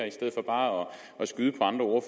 i stedet for bare at skyde på andre